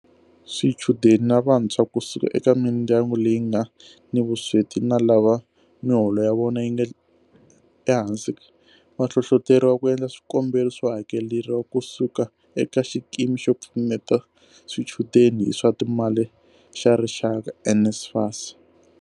Swichudeni na vantshwa ku suka eka mindyangu leyi nga ni vusweti na lava miholo ya vona yi nga ehansi va hlohloteriwa ku endla swikombelo swo hakeleriwa ku suka eka Xikimi xo Pfuneta Swichudeni hi swa Timali xa Rixaka, NSFAS.